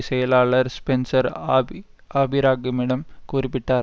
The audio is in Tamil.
செயலாளர் ஸ்பென்சர் ஆபி ஆபிரகாமிடம் குறிப்பிட்டார்